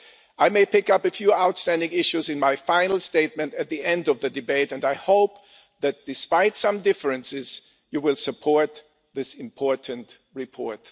I may pick up on a few outstanding issues in my final statement at the end of the debate and I hope that, despite some differences, you will support this important report.